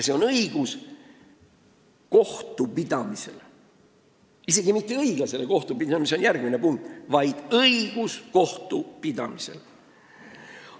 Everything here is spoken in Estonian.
See on õigus kohtupidamisele – isegi mitte õiglasele kohtupidamisele, mis on järgmine punkt, vaid õigus kohtupidamisele.